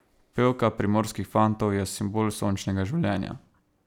Pevka Primorskih fantov je simbol sončnega življenja.